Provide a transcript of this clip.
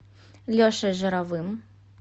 лешей жировым